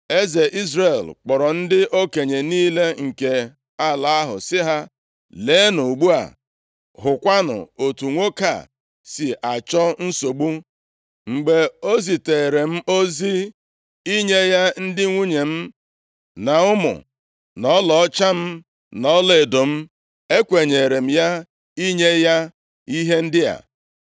Eze Izrel kpọrọ ndị okenye niile nke ala ahụ, sị ha, “Leenụ ugbu a, hụkwanụ otu nwoke a si achọ nsogbu. Mgbe o zitere m ozi inye ya ndị nwunye m, na ụmụ, na ọlaọcha m na ọlaedo m, ekwenyere m ya inye ya ihe ndị a.”